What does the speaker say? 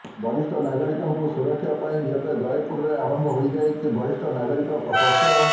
ବରିଷ୍ଠ ନାଗରିକଙ୍କୁ ସୁରକ୍ଷା ପାଇଁ ଏବେ ଜୟପୁରରେ ଆରମ୍ଭ ହୋଇ ଯାଇଛି ବରିଷ୍ଠ ନାଗରିକ ପ୍ରକୋଷ୍ଠ